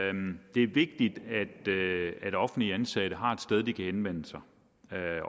det er vigtigt at offentligt ansatte har et sted de kan henvende sig